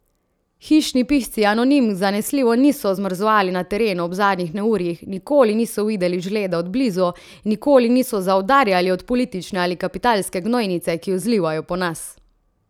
Hišni pisci anonimk zanesljivo niso zmrzovali na terenu ob zadnjih neurjih, nikoli niso videli žleda od blizu, nikoli niso zaudarjali od politične ali kapitalske gnojnice, ki jo zlivajo po nas.